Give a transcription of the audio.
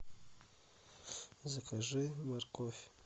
закажи морковь